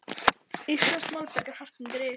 Íslenskt malbik er hart undir il.